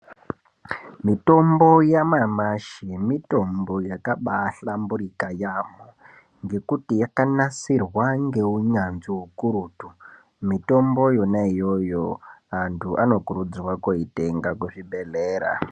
Mitombo yanyamashi, mitombo yakabaahlamburika yaamho, ngekuti yakanasirwa ngeunyanzvi ukurutu. Mitombo yonaiyo-yo antu onokurudzirwa kunoitenga kuzvibhedhlera.